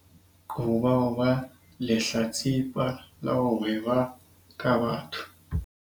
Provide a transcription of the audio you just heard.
Qoba ho ba lehlatsipa la ho hweba ka batho